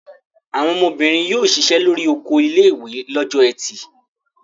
Àwọn ọmọbìnrin yóò ṣiṣẹ́ lórí oko ilé-ìwé lọ́jọ́ ẹtì.